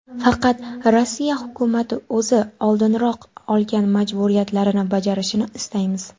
Faqat Rossiya hukumati o‘zi oldinroq olgan majburiyatlarini bajarishini istaymiz.